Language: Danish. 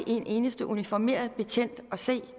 en eneste uniformeret betjent at se